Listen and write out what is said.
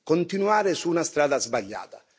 continuare su una strada sbagliata.